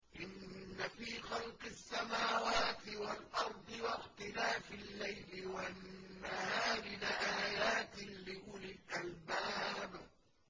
إِنَّ فِي خَلْقِ السَّمَاوَاتِ وَالْأَرْضِ وَاخْتِلَافِ اللَّيْلِ وَالنَّهَارِ لَآيَاتٍ لِّأُولِي الْأَلْبَابِ